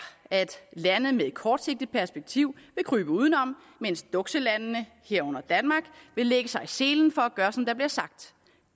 at lande med et kortsigtet perspektiv vil krybe udenom mens dukselandene herunder danmark vil lægge sig i selen for at gøre som der bliver sagt